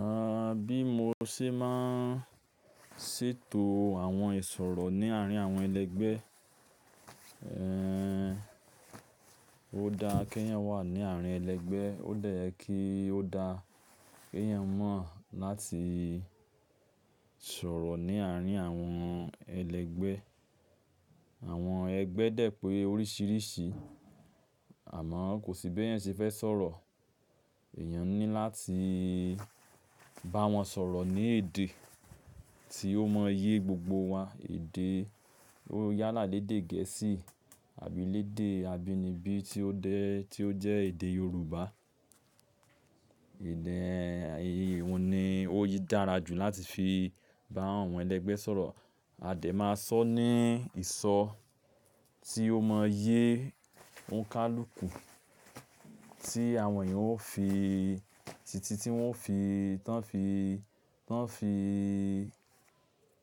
A, bí mo ṣe máa n ṣètò àwọn ìsọ̀rọ̀ ní àárín àwọn ẹlẹgbẹ́. Ehn, ó dáa kí èyàn wà ní àárín ẹlẹgbẹ. Ó dẹ ye ki o dáa ki èèyàn mọ̀ láti sọ̀rọ̀ ní àárín àwọn ẹlẹgbẹ. Àwọn ẹgbẹ́ dẹ̀ pé oríṣìíríṣìí. Àmọ́ kò sí bí ẹ̀yàn ṣe fẹ́ sọ̀rọ̀. Ẹ̀èyàn ni láti bá wọn sọ̀rọ̀ ní èdè tí ó mọ yé gbogbo wá. Èdè, ó yálà lédè gẹ̀ẹ́sì àbí lédè abínibí tí ó dẹ, tí ó jẹ́ èdè Yorùbá. Ìyí ìhun ni ó yí dára jù láti fi bá àwọn ẹlẹgbẹ́ sọ̀rọ̀. A dẹ̀ máa sọ ní ìsọ tí ó mọ yé ònikálùkù tí àwọn èèyàn ó fi, títí tí wọ́n fi, tán fi, tán fi,